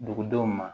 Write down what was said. Dugudenw ma